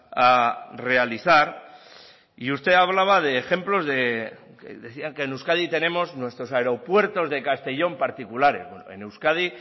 a realizar y usted hablaba de ejemplos que decían que en euskadi tenemos nuestros aeropuertos de castellón particulares en euskadi